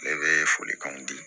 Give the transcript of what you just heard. Ne bɛ folikanw di